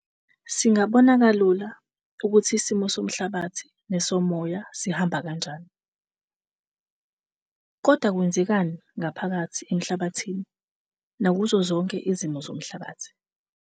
Singabona kalula ukuthi isimo somhlabathi nesomoya sihamba kanjani. Kodwa kwenzekani ngaphakathi emhlabathini nakuzo zonke izimo zomhlabathi?